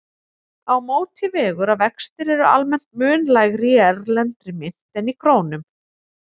Á móti vegur að vextir eru almennt mun lægri í erlendri mynt en í krónum.